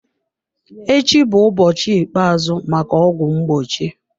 Echi bụ ụbọchị ikpeazụ maka ọgwụ mgbochi.